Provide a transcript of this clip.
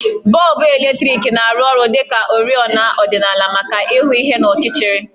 Bọlbụ eletriki na-arụ ọrụ dị ka oriọna ọdịnala maka ịhụ ihe n'ọchịchịrị